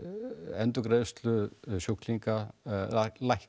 endurgreiðslu sjúklinga lækkar